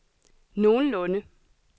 nogenlunde